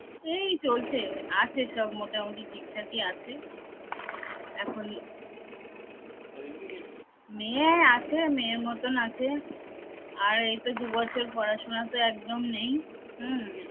এই চলছে আছে সব মোটামুটি ঠিকঠাকি আছে মেয়ে আছে মেয়ের মতন আছে। আর এই তো দু বছর পড়াশুনা তো একদম নেই হম